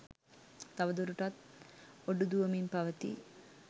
තව දුරටත් ඔඩු දුවමින් පවතී